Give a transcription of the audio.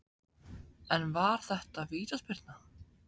En var þetta vítaspyrna?